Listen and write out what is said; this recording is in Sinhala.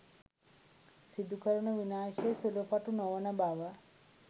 සිදුකරන විනාශය සුළු පටු නොවන බව